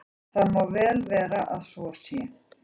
Það má vel vera að svo sé.